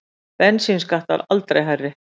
Bensínskattar aldrei hærri